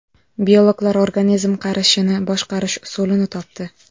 Biologlar organizm qarishini boshqarish usulini topdi.